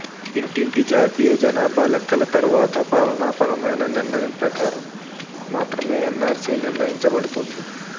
ఇంటింటి జాతీయ జనాభా లెక్కల తరువాత పాలనాపరమైన నిర్ణయం ప్రకారం మాత్రమే ఎన్నార్సీ నిర్ణయించబడుతుంది